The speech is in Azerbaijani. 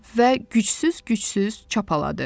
Və gücsüz-gücsüz çapaladı.